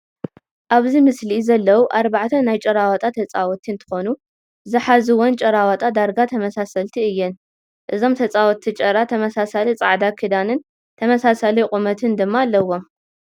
አብዚ ምስሊ ዘለዉ አርባዕተ ናይ ጭራዋጣ ተፃወቲ እንትኮኑ ዝሓዝወን ጭራዋጣ ዳርጋ ተመሳሰልቲ እየን፡፡ እዞም ተፃወቲ ጭራ ተመሳሳሊ ፃዕዳ ክዳንን ተመሳሳሊ ቁመትን ድማ አለዎም